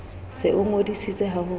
se o ngodisitse ha ho